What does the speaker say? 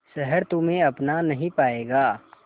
शहर तुम्हे अपना नहीं पाएगा